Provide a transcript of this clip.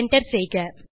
enter செய்க